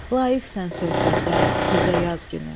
Layiqsən söhbətə, sözə yaz günü.